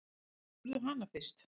Spurðu hana fyrst.